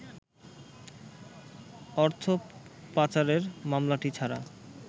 অর্থপাচারের মামলাটি ছাড়া